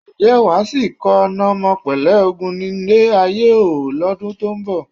Ǹjẹ́ wà á sì kọ: "N ò mọ̀ pélé ogun nílé ayé o ...", lọ́dún tó ń bọ̀?